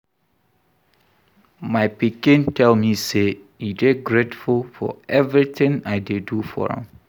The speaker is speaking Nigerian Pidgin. My pikin tell me say e dey grateful for everything I dey do for am